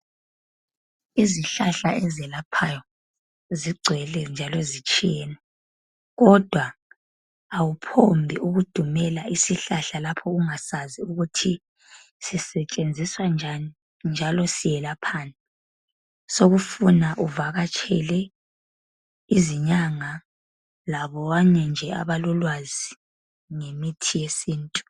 Izihlahla ezelaphayo zigcwele njalo zitshiyene. Kodwa awuphongudumela isihlahla ungakwazi ukuthi sisetshenziswa njani njalo siyelaphani. Sekufuna uvakatshele izinyanga labanye nje abalolwazi ngemithi yesintu.